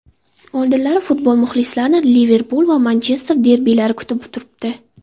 Oldinda futbol muxlislarini Liverpul va Manchester derbilari kutib turibdi.